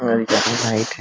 और ये ज्यादा हाइट है।